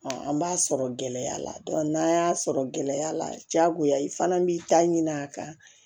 an b'a sɔrɔ gɛlɛya la n'an y'a sɔrɔ gɛlɛya la jagoya i fana b'i ta ɲini a kan